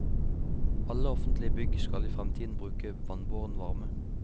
Alle offentlige bygg skal i fremtiden bruke vannbåren varme.